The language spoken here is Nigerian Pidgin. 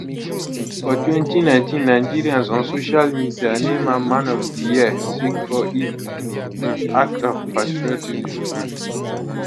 for 2019 nigerians on social media name am man of di year sake of im um act of patriotism um